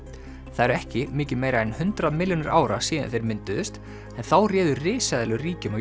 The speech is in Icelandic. það eru ekki mikið meira en hundrað milljónir ára síðan þeir mynduðust en þá réðu risaeðlur ríkjum